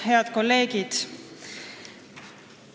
Head kolleegid!